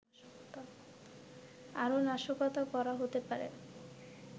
আরও নাশকতা করা হতে পারে